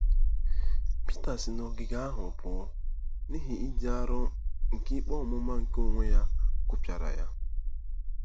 Pita si n'ogige ahụ pụọ, n'ihi ịdị arọ nke ikpe ọmụma nke onwe ya kụpịara ya.